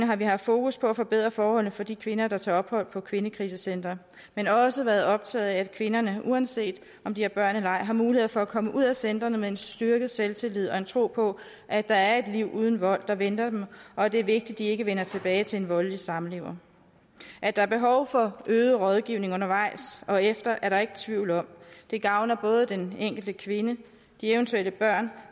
har vi haft fokus på at forbedre forholdene for de kvinder der tager ophold på kvindekrisecentre men også været optaget af at kvinderne uanset om de har børn eller ej har mulighed for at komme ud af centrene med en styrket selvtillid og en tro på at der er et liv uden vold der venter dem og at det er vigtigt at de ikke vender tilbage til en voldelig samlever at der er behov for øget rådgivning undervejs og efter er der ikke tvivl om det gavner både den enkelte kvinde de eventuelle børn